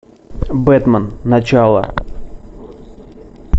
бэтмен начало